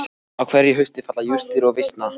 Á hverju hausti falla jurtir og visna.